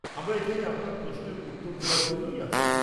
আমরা এখানে আপনার প্রশ্নের উত্তর দেওয়ার জন্যেই আছি।